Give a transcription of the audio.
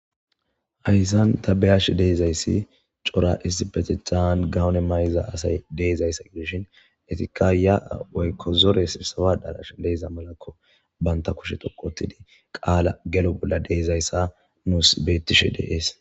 Ayssan ta beyash deezayssi cora izibetihan gawone may'iza asay deezayssa gidishin etikka ya waykko zoressawa darash leeza malakko banta kushe toqotidi qaala gelo bolla deezayssa nuus beettishe deees.